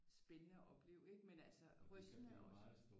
Spændende at opleve ikke men altså rystende også